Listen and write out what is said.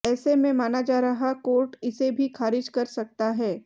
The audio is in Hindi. ऐसे में माना जा रहा कोर्ट इसे भी खारिज कर सकता है